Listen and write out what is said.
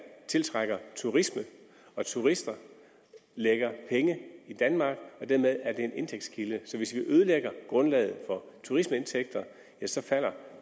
tiltrækker turisme og turister lægger penge i danmark dermed er det en indtægtskilde så hvis vi ødelægger grundlaget for turismeindtægter ja så falder